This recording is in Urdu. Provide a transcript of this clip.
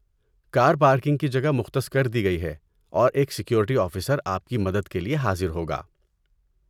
کار پارکنگ کی جگہ مختص کر دی گئی ہے اور ایک سیکورٹی آفیسر آپ کی مدد کے لیے حاضر ہوگا۔